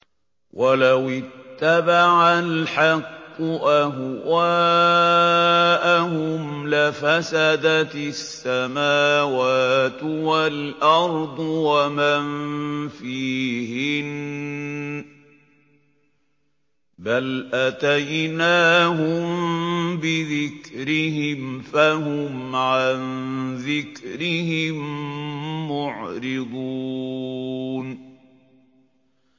وَلَوِ اتَّبَعَ الْحَقُّ أَهْوَاءَهُمْ لَفَسَدَتِ السَّمَاوَاتُ وَالْأَرْضُ وَمَن فِيهِنَّ ۚ بَلْ أَتَيْنَاهُم بِذِكْرِهِمْ فَهُمْ عَن ذِكْرِهِم مُّعْرِضُونَ